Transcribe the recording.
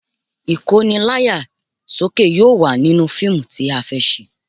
Ìkóni láyà sókè yóò wà nínú fíìmù tí a fẹ́ ṣe